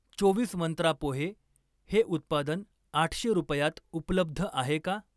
चोवीस मंत्रा पोहे हे उत्पादन आठशे रुपयात उपलब्ध आहे का?